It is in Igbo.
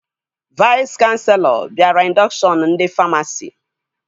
Vais kanselọ bịara indọkshọn ndị famasi